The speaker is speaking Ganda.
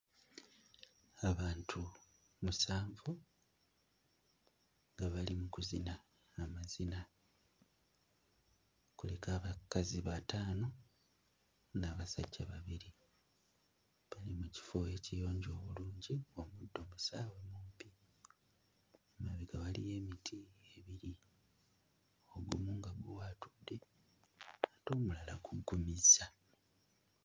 Abantu musanvu nga bali mu kuzina amazina kuliko abakazi bataano n'abasajja babiri bali mu kifo ekiyonjo obulungi obuddo busaawe bumpi emabega waliyo emiti ebiri ogumu nga guwaatudde ate omulala guggumizza.